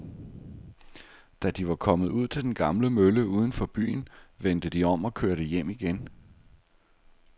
Da de var kommet ud til den gamle mølle uden for byen, vendte de om og kørte hjem igen.